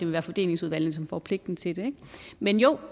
være fordelingsudvalgene som får pligten til det men jo